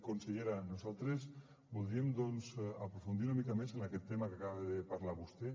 consellera nosaltres voldríem doncs aprofundir una mica més en aquest tema que acaba de parlar vostè